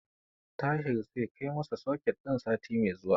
Tahir zai kai masa soket din sati mai zuwa.